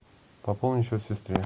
пополнить счет сестре